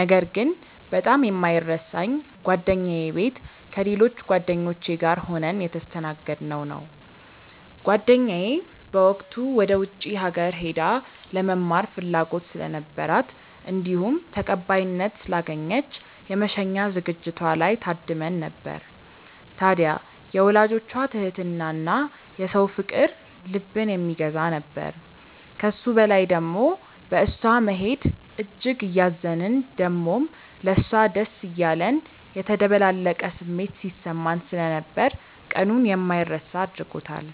ነገር ግን በጣም የማይረሳኝ ጓደኛዬ ቤት ከሌሎች ጓደኞቼ ጋር ሆነን የተስተናገድነው ነው። ጓደኛዬ በወቅቱ ወደ ውጪ ሀገር ሄዳ ለመማር ፍላጎት ስለነበራት እንዲሁም ተቀባይነት ስላገኘች የመሸኛ ዝግጅቷ ላይ ታድመን ነበር። ታድያ የወላጆቿ ትህትና እና የሰው ፍቅር ልብን የሚገዛ ነበር። ከሱ በላይ ደሞ በእሷ መሄድ እጅግ እያዘንን ደሞም ለሷ ደስ እያለን የተደበላለቀ ስሜት ሲሰማን ስለነበር ቀኑን የማይረሳ አድርጎታል።